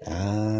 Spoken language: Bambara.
An